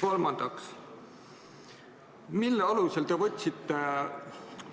Kolmandaks, mille alusel te võtsite